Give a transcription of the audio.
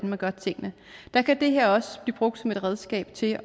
man gør tingene der kan det her også blive brugt som et redskab til at